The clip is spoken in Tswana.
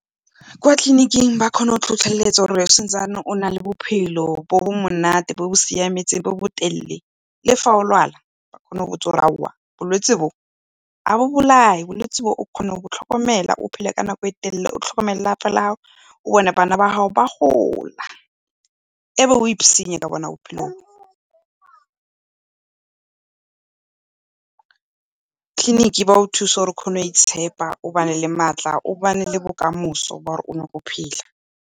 Kwa tleliniking ba kgona go tlhotlheletsa gore sa ntse o na le bophelo bo bo monate bo bo siameng bo bo telele. Le fa o lwala ba kgona go botsa gore, aowa bolwetse bo ga bo bolae, bolwetse bo o kgona go bo tlhokomela, o phele nako e telele o tlhomekomele le lapa la gago, o bone bana ba gago ba gola. E be o ka bona bophelo bo. Tleliniki ba go thusa gore o kgone go itshepa o bane le matla, o ba ne le bokamoso phela.